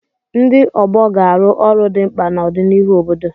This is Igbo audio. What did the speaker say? Ndị ọgbọ ga-arụ ọrụ dị mkpa na ọdịnihu obodo.